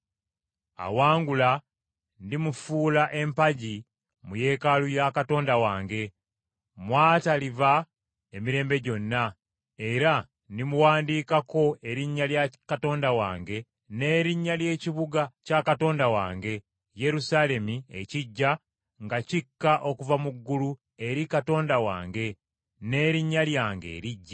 Awangula ndimufuula empagi mu Yeekaalu ya Katonda wange, mw’ataliva emirembe gyonna, era ndimuwandiikako erinnya lya Katonda wange, n’erinnya ly’ekibuga kya Katonda wange, Yerusaalemi ekiggya nga kikka okuva mu ggulu eri Katonda wange n’erinnya lyange eriggya.